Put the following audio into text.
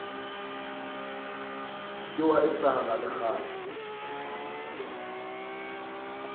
ke wa etsahala le kgale